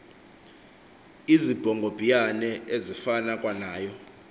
izibhongobhiyane ezifana kwanayo